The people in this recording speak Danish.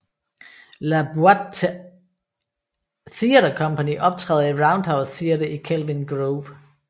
La Boite Theatre Company optræder i Roundhouse Theatre i Kelvin Grove